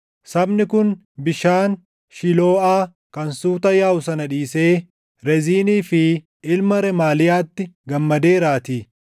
“Sabni kun bishaan Shilooʼaa kan suuta yaaʼu sana dhiisee Reziinii fi ilma Remaaliyaatti gammadeeraatii;